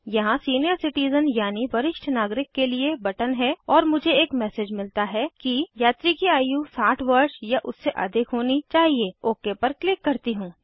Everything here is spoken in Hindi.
यहाँ सीनियर सिटिज़न यानि वरिष्ठ नागरिक के लिए बटन है और मुझे एक मैसेज मिलता है कि यात्री की आयु 60 वर्ष या उससे अधिक होनी चाहिए ओक पर क्लिक करती हूँ